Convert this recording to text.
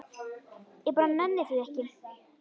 Ég bara nenni því ekki.